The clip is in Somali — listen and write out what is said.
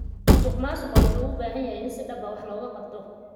Musuqmaasuqa wuxuu u baahan yahay in si dhab ah wax looga qabto.